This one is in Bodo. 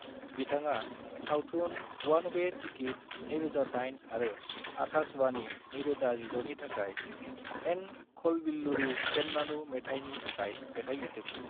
बिथाङा सावथुन वन वे टिकिट (2008) आरो आकाशवाणी (2016) नि थाखाय "एन खलबिल्लुरु पेन्नानु" मेथाइनि थाखाइ मेथाइ लिरदोंमोन।